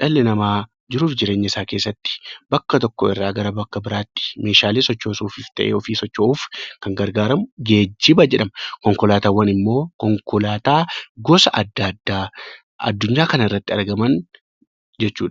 dhalli namaa jiruuf jireenya isaa keessatti bakka tokko irraa bakka biraatti meeshaalee sochoosuu fis ta'e, ofii socho'uuf kan gargaaramu 'Geejjiba' jedhama. Konkolaataawwan immoo konkolaataa gosa adda addaa Addunyaa kana irratti argaman jechuu dha.